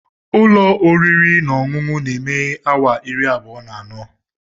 Ụlọ oriri na ọṅụṅụ na-emeghe awa iri abụọ na anọ.